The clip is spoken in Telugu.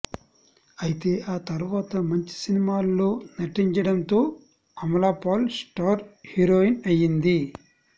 అయితే ఆ తర్వాత మంచి సినిమాల్లో నటించడంతో అమలపాల్ స్టార్ హీరోయిన్ అయింది